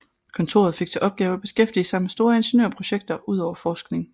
Kontoret fik til opgave at beskæftige sig med store ingeniørprojekter udover forskning